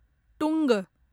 टुङ्ग